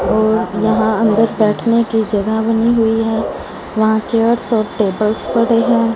और यहां अंदर बैठने की जगह बनी हुई है वहां चेयर्स और टेबल्स पड़े हैं।